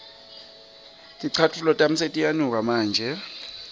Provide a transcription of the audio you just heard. ticatfulo tami setiyanuka manje